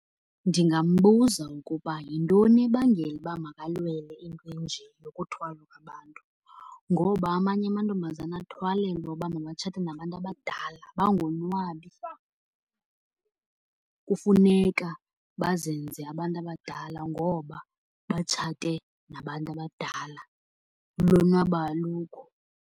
Ndingambuza ukuba yintoni ebangela uba makalwele into enje yokuthwala kwabantu? Ngoba amanye amantombazana athwalelwa uba mabatshathe nabantu abadala bangonwabi. Kufuneka bazenze abantu abadala ngoba batshate nabantu abadala, ulonwabo alukho.